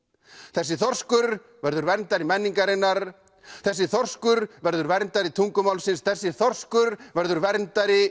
þessi þorskur verður verndari menningarinnar þessi þorskur verður verndari tungumálsins þessi þorskur verður verndari